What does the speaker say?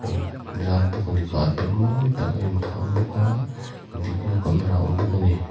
in zar bawk ani carpet mawi tak a inphah bawka video camera awm bawka a ni.